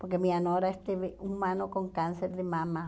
Porque minha nora esteve um ano com câncer de mama.